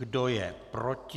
Kdo je proti?